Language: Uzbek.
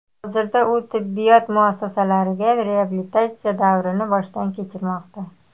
Hozirda u tibbiyot muassasasida reabilitatsiya davrini boshdan kechirmoqda.